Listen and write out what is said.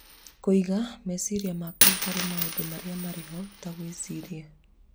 Kũiga meciria maku harĩ maũndũ marĩa marĩ ho, ta gwĩciria,